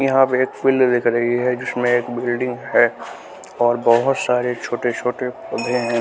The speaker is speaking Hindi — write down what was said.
यहाँ पे एक फील्ड दिख रही है जिसमें एक बिल्डिंग है और बहुत सारे छोटे छोटे कमरे हैं।